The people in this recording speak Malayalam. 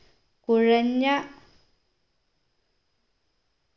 കുഴഞ്ഞ